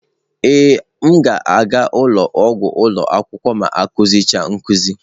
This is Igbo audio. Ee m ga-aga ụlọ ọgwụ ụlọ akwụkwọ ma akụzi cha nkuzi.